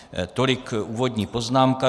Tolik úvodní poznámka.